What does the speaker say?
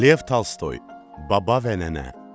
Lev Tolstoy, Baba və nənə.